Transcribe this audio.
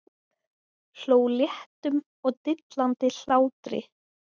Hló léttum og dillandi hlátri.